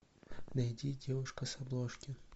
найди девушка с обложки